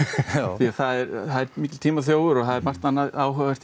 því að það er mikill tímaþjófur og það er margt áhugaverðara